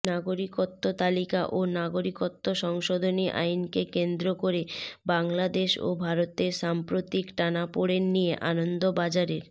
নাগরিকত্ব তালিকা ও নাগরিকত্ব সংশোধনী আইনকে কেন্দ্র করে বাংলাদেশ ও ভারতের সাম্প্রতিক টানাপোড়েন নিয়ে আনন্দবাজারের